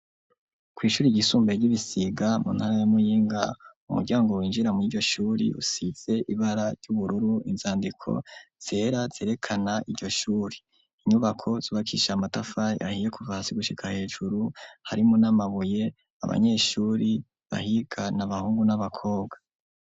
Kw'ishure ry'i Busiga mu ntara ya Muyinga, ku muryango winjira mw'iryo usize ibara ry'ubururu, inzandiko zera zerekana iryo shure. Inyubako zubakishije amatafari ahiye kuva hasi gushika hejuru harimwo n'amabuye. Abanyeshure bahiga n'abahungu n'abakobwa.